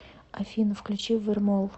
афина включи вермол